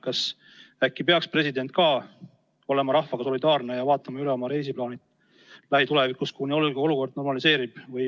Kas äkki peaks ka president olema rahvaga solidaarne ja vaatama üle oma lähituleviku reisiplaanid, kuni olukord normaliseerub?